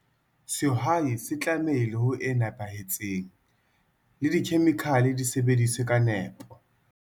Sehwai se tlamehile ho e nepahetseng, le dikhemikhale di sebediswe ka nepo.